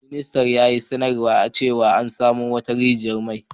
Ministar ya yi sanarwa cewa an samo wassu rigiyan mai.